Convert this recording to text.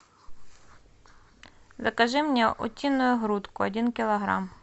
закажи мне утиную грудку один килограмм